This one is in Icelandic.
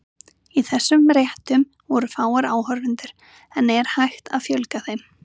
Í þessum réttum voru fáir áhorfendur, en er hægt að fjölga þeim?